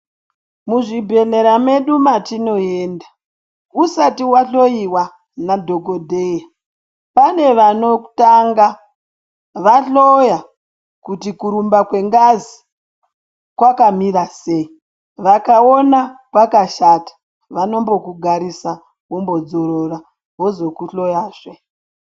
Muzvibhedhlera medu matinoenda usati vahloiwa nadhogodheya pane vanotanga vahloya kuti kurumba kwengazi kwakamira sei. Vakaona kwakashata vanombokugarisa vombodzorora vozokuhloyazve.